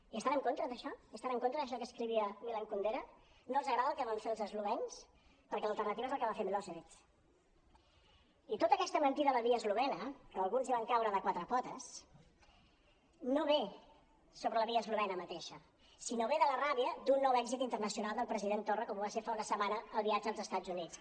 hi estan en contra d’això hi estan en contra d’això que escrivia milan kundera no els agrada el que van fer els eslovens perquè l’alternativa és el que va fer miloševii tota aquesta mentida de la via eslovena que alguns hi van caure de quatre po·tes no ve sobre la via eslovena mateixa sinó ve de la ràbia d’un nou èxit interna·cional del president torra com ho va ser fa una setmana el viatge als estats units